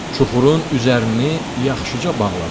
Çuxurun üzərini yaxşıca bağladılar.